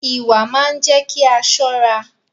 Ìwà máa ń jé kí a ṣọ́ra